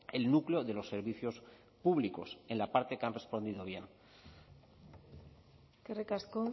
el núcleo de los servicios públicos en la parte que han respondido bien eskerrik asko